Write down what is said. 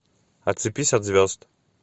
отцепись от звезд